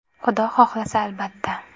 Xudo xohlasa albatta.